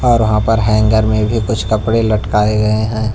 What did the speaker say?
वहां पर हैंगर में भी कुछ कपड़े लटकाए गए हैं।